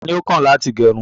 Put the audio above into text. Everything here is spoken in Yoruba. Tani o kàn láti gẹrún?